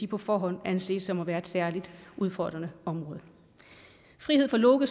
på forhånd anses for at være et særligt udfordrende område frihed for loke